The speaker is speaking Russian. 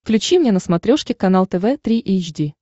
включи мне на смотрешке канал тв три эйч ди